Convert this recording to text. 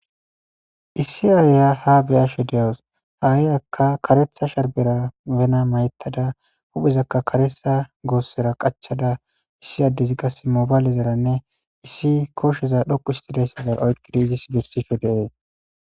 issi aaya ha beyaasho deawus haa7iyaka karetha sharbera bena mayettada huphezakka karetha goossera qachada issi addezi qase mobaylezaranne issi kooshsheza dhoqu histideyssizar oykkidi izis gestisho deee